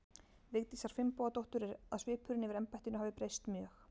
Vigdísar Finnbogadóttur er að svipurinn yfir embættinu hafi breyst mjög.